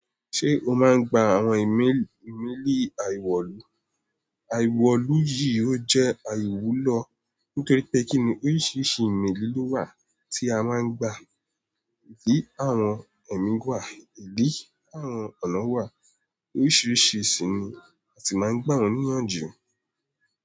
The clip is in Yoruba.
Ṣé o máa ń gba àwọn ìmeelì? Àìwọ̀lù yìí ó jẹ́ àìwúlọ́ nítorí pé kíni oríṣiríṣi ìmẹ́lì ló wà tí a máa ń gba. Ìdí àwọn ẹ̀mí wà, ìdí àwọn ọ̀nà wà, oríṣiríṣi ṣíní a tì máa ń gba wọ́n níyànjú.